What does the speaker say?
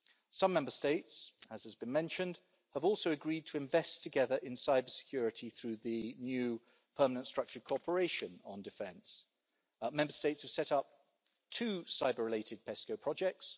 Some Member States, as has been mentioned, have also agreed to invest together in cybersecurity through the new permanent structured cooperation on defence. Member States have set up to cyber-related PESCO projects.